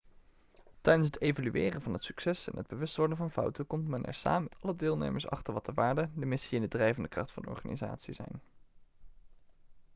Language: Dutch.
tijdens het evalueren van het succes en het bewust worden van fouten komt men er samen met alle deelnemers achter wat de waarden de missie en de drijvende kracht van de organisatie zijn